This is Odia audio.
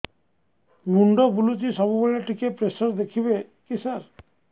ମୁଣ୍ଡ ବୁଲୁଚି ସବୁବେଳେ ଟିକେ ପ୍ରେସର ଦେଖିବେ କି ସାର